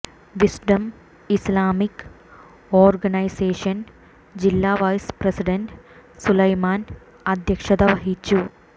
wisdom Islamic organisation ജില്ല vice president Sulaiman അധ്യക്ഷത വഹിച്ചു